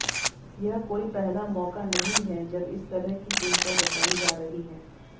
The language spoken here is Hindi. यह कोई पहला मौका नहीं है जब इस तरह की चिंता जताई जा रही है